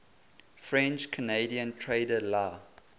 french canadian trader la